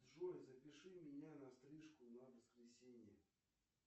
джой запиши меня на стрижку на воскресенье